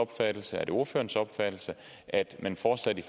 opfattelse er det ordførerens opfattelse at man fortsat i